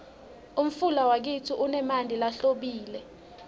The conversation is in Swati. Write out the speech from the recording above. umfula wakitsi unemanti lahlobile